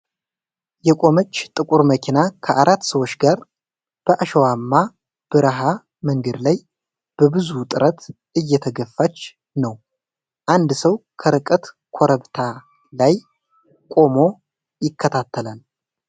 የቆመች ጥቁር መኪና ከአራት ሰዎች ጋር በአሸዋማ በረሃ መንገድ ላይ በብዙ ጥረት እየተገፋች ነው። አንድ ሰው ከርቀት ኮረብታ ላይ ቆሞ ይከታተላል።